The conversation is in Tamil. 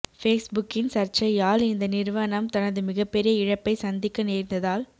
ஃபேஸ்புகின் சர்ச்சையால் இந்த நிறுவனம் தனது மிகப்பெரிய இழப்பை சந்திக்க நேர்ந்ததால்